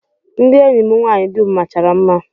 Ndị enyi m nwaanyị dum machara mma